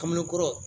Kamelen kɔrɔ